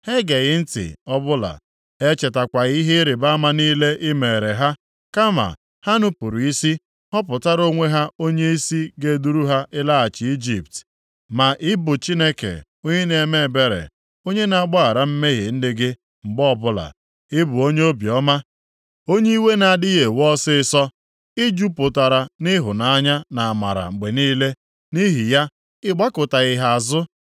Ha egeghị ntị ọbụla, ha echetakwaghị ihe ịrịbama niile i meere ha. Kama ha nupuru isi họpụtara onwe ha onyeisi ga-eduru ha ịlaghachi Ijipt. Ma ị bụ Chineke onye na-eme ebere, onye na-agbaghara mmehie ndị gị mgbe ọbụla. Ị bụ onye obiọma, onye iwe na-adịghị ewe ọsịịsọ. I jupụtara nʼịhụnanya na amara mgbe niile. Nʼihi ya, ị gbakụtaghị ha azụ,